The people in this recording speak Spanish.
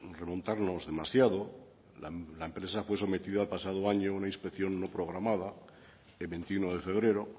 remontarnos demasiado la empresa fue sometida el pasado año a una inspección no programada el veintiuno de febrero